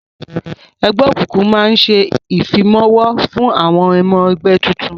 Ẹgbẹ́ òkùnkùn máa ń ṣe ìfimawo fún ọmọ ẹgbẹ́ tuntun